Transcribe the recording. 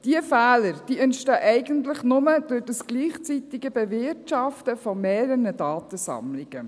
Diese Fehler entstehen eigentlich nur durch dieses gleichzeitige Bewirtschaften von mehreren Datensammlungen.